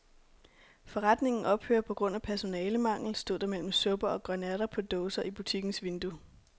Forretningen ophører på grund af personalemangel, stod der mellem supper og grønærter på dåse i butikkens vindue.